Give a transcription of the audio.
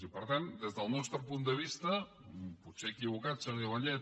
i per tant des del nostre punt de vista potser equivocat senyora vallet